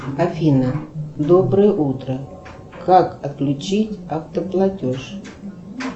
афина доброе утро как отключить автоплатеж